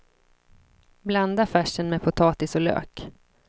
Blanda färsen med potatis och lök.